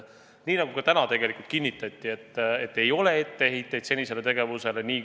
Nii nagu täna siin, kinnitati ka komisjonis, et ei ole etteheiteid komisjoni senisele tegevusele.